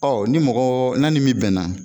Ɔ ni mɔgɔ n'a ni min bɛnna.